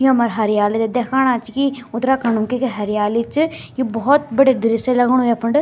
यु हमर हरियाली थे दिखाणा छी की उत्तराखण्ड म क्य क्य हरियाली च यु भोत बढ़िया दृश्य लगनु यफंड।